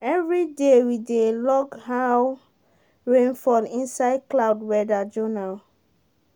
everyday we dey log how rain fall inside cloud weather journal.